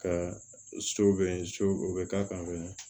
Ka so bɛ so o bɛ k'a kan